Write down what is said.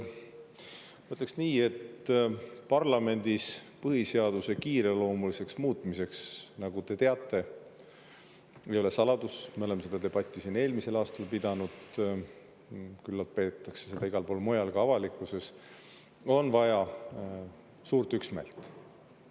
Ma ütleks nii, et parlamendis põhiseaduse kiireloomuliseks muutmiseks, nagu te teate – ei ole saladus, me oleme seda debatti siin eelmisel aastal pidanud, küllap peetakse seda igal pool mujalgi, ka avalikkuses –, on vaja suurt üksmeelt.